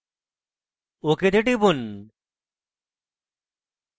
ok তে টিপুন